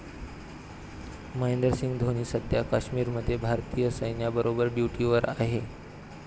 महेंद्रसिंह धोनी सध्या काश्मीरमध्ये भारतीय सैन्याबरोबर ड्युटीवर आहे.